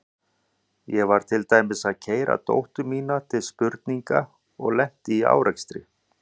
Ég var til dæmis að keyra dóttur mína til spurninga og lenti í árekstri.